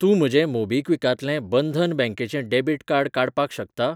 तूं म्हजें मोबीक्विकांतलें बंधन बँकेचें डेबिट कार्ड काडपाक शकता?